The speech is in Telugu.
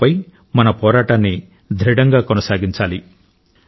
కరోనాపై మన పోరాటాన్ని దృఢంగా కొనసాగించాలి